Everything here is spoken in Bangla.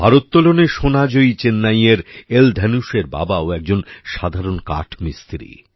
ভারোত্তোলনে সোনা জয়ী চেন্নাইয়ের এল ধনুশের বাবাও একজন সাধারণ কাঠমিস্ত্রি